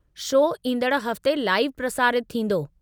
Show ईंदड़ हफ़्ते live प्रसारितु थींदो।